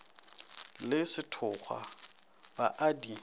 le sethokgwa ba a di